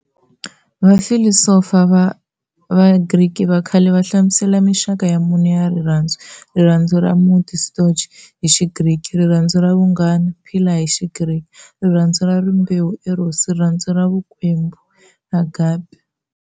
Vafilosofa va Vagriki vakhale vahlamusele minxaka ya mune ya rirhandzu-Rirhandzu ra munti, "storge" hi xigriki, Rirhandzu ra vunghana, philia hi xigriki", Rirhandzu ra rimbewu, "eros", rirhandzu ra vukwembu, "agape".